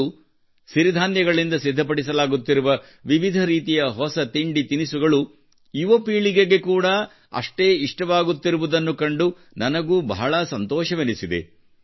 ಇಂದು ಸಿರಿಧಾನ್ಯಗಳಿಂದ ಸಿದ್ಧಪಡಿಸಲಾಗುತ್ತಿರುವ ವಿವಿಧ ರೀತಿಯ ಹೊಸ ತಿಂಡಿ ತಿನಿಸುಗಳು ಯುವ ಪೀಳಿಗೆಗೆ ಕೂಡಾ ಅಷ್ಟೇ ಇಷ್ಟವಾಗುತ್ತಿರುವುದನ್ನು ಕಂಡು ನನಗೂ ಬಹಳ ಸಂತೋಷವೆನಿಸಿದೆ